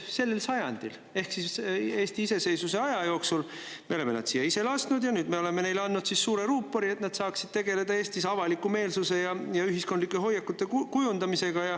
Sellel sajandil ehk siis Eesti iseseisvuse aja jooksul me oleme nad siia ise lasknud ja nüüd me oleme neile andnud suure ruupori, et nad saaksid tegeleda Eestis avaliku meelsuse ja ühiskondlike hoiakute kujundamisega.